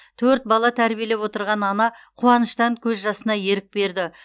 төрт бала тәрбиелеп отырған ана қуаныштан көз жасына ерік берді